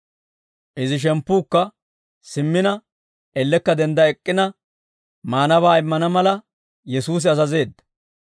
Izi shemppuukka simmina ellekka dendda ek'k'ina maanabaa immana mala, Yesuusi azazeedda.